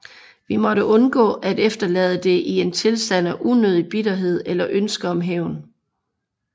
Vi måtte undgå at efterlade det i en tilstand af unødig bitterhed eller ønske om hævn